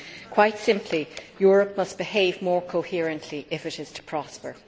Quite simply, Europe must behave more coherently if it is to prosper.